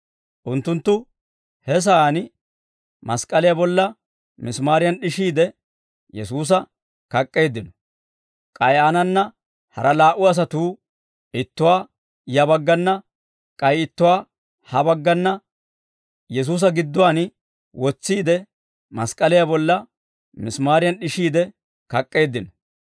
Unttunttu he sa'aan mask'k'aliyaa bolla misimaariyan d'ishiide, Yesuusa kak'k'eeddino; k'ay aanana hara laa"u asatuu, ittuwaa ya baggana k'ay ittuwaa ha baggana Yesuusa gidduwaan wotsiide, mask'k'aliyaa bolla misimaariyan d'ishiide kak'k'eeddino.